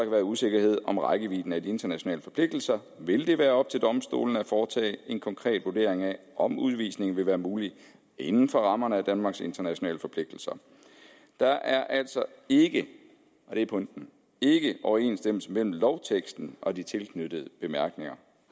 være usikkerhed om rækkevidden af de internationale forpligtelser vil det være op til domstolene at foretage en konkret vurdering af om udvisning vil være muligt inden for rammerne af danmarks internationale forpligtelser der er altså ikke og det er pointen overensstemmelse mellem lovteksten og de tilknyttede bemærkninger